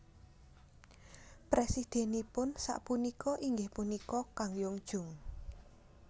Presidenipun sakpunka inggih punika Kang Young Joong